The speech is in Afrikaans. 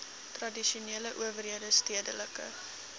tradisionele owerhede stedelike